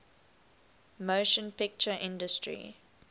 motion picture industry